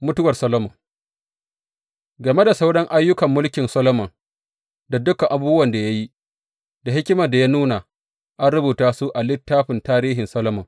Mutuwar Solomon Game da sauran ayyukan mulkin Solomon, da dukan abubuwan da ya yi, da hikimar da ya nuna, an rubuta su a littafin tarihin Solomon.